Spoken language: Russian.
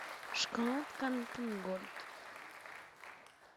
шоколадка альпен гольд